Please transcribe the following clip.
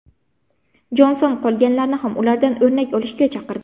Jonson qolganlarni ham ulardan o‘rnak olishga chaqirdi.